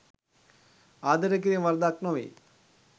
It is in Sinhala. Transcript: ආදරය කිරීම වරදක් නොවේ.